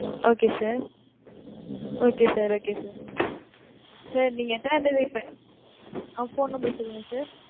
okay sir, okay sir, okay sir sir நீங்க எத்தனாம் தேதி . ஆஹ் phone number சொல்லுங்க sir